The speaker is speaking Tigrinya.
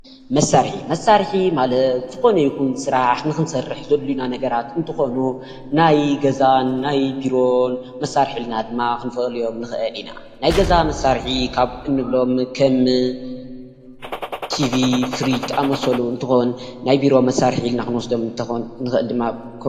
መሳርሒ፦ መሳርሒ ማለት ዝኮነ ይኩን ስራሕ ንክንሰርሕ ዘድልዩና ነገራት እንትኮኑ ናይ ገዛን ናይ ቢሮን መሳርሒ ኢልና ድማ ክንፈልዮ ንክእል ኢና ፡፡ ናይ ገዛ መሳርሒ እንብሎም ከም ትቪ፣ ፍርጅ ዝኣምሳሰሉ እንትኮኑ ናይ ቢሮ መሳርሒ ኢልና እንወስዶም ንክእል ድማ ከም ኮምፒተር፡፡